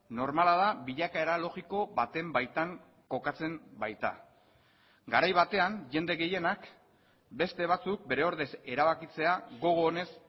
normala da bilakaera logiko baten baitan kokatzen baita garai batean jende gehienak beste batzuk bere ordez erabakitzea gogo onez